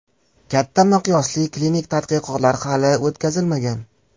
Katta miqyosli klinik tadqiqotlar hali o‘tkazilmagan.